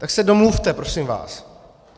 Tak se domluvte, prosím vás.